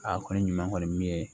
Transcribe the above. Aa kɔni ɲuman kɔni min ye